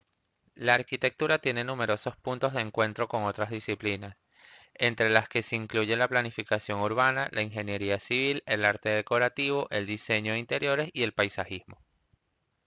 la arquitectura tiene numerosos puntos de encuentro con otras disciplinas entre las que se incluyen la planificación urbana la ingeniería civil el arte decorativo el diseño de interiores y el paisajismo